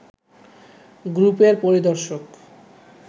গ্রুপের পরিদর্শক